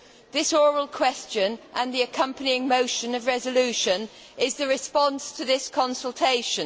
This oral question, with the accompanying motion for a resolution, is the response to this consultation.